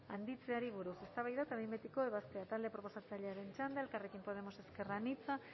handitzeari buruz eztabaida eta behin betiko ebazpena talde proposatzailearen txanda elkarrekin podemos ezker anitza